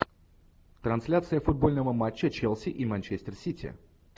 трансляция футбольного матча челси и манчестер сити